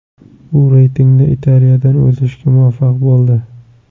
U reytingda Italiyadan o‘zishga muvaffaq bo‘ldi.